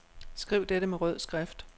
Skriv dette med rød skrift.